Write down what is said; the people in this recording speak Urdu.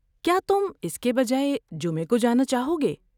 کیا تم اس کے بجائے جمعہ کو جانا چاہو گے؟